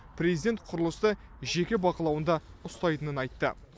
президент құрылысты жеке бақылауында ұстайтынын айтты